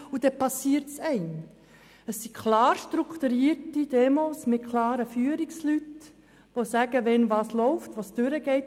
Vielmehr handelt es sich um strukturierte Veranstaltungen mit klar definierten Führungspersonen, die sagen, was wann läuft und wo es langgeht.